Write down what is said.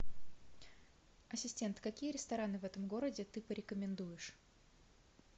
ассистент какие рестораны в этом городе ты порекомендуешь